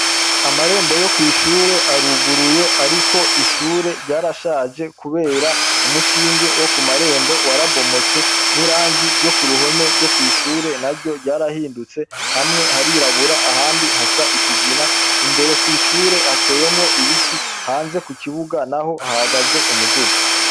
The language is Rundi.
Amarembo yo kw’ishure aruguruye ariko ishure ryarashaje kubera umushinge wo kumarembo warabomotse, n’irangi ryo kuruhome ryo kw’ishure naryo ryarahindutse hamwe harirabura ahandi hasa ikigina. Imbere kw’ishure hateyemwo ibiti hanze kukibiga naho hahagaze umuduga.